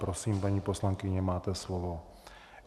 Prosím, paní poslankyně, máte slovo.